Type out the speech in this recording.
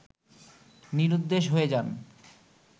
নিরুদ্দেশ হয়ে যান